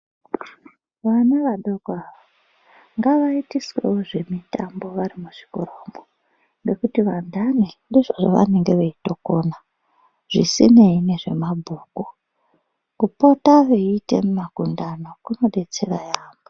Vana vadoko avo, ngavayitiswewo zvemitambo vari muzvikoramwo, ngekuti vantani ndizvo zvavanenge veyitokona, zvisineyi nezvemabhuku, kupota veyita makundano kunodetsera yambo.